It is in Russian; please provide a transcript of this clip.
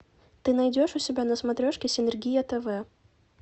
ты найдешь у себя на смотрешке синергия тв